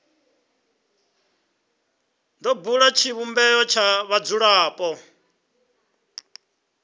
do bula tshivhumbeo tsha vhadzulapo